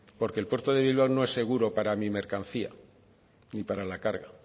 porque el puerto de bilbao no es seguro para mi mercancía ni para la carga